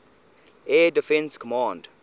air defense command